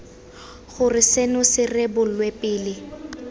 gore seno se rebolwe pele